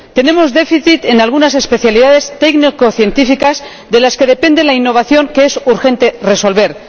Tenemos un déficit en algunas especialidades técnico científicas de las que depende la innovación que es urgente resolver.